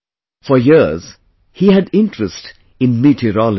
For years he had interest in meteorology